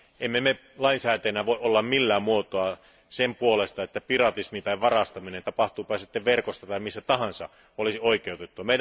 Emme me lainsäätäjinä voi olla millään muotoa sen puolesta, että piratismi tai varastaminen, tapahtuupa se sitten verkossa tai missä tahansa, olisi oikeutettua.